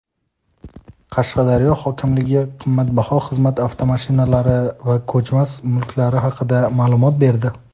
Qashqadaryo hokimligi qimmatbaho xizmat avtomashinalari va ko‘chmas mulklari haqida ma’lumot berdi.